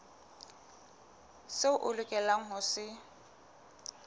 seo o lokelang ho se